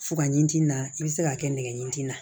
Fuga in tin na i bɛ se k'a kɛ nɛgɛ ɲin na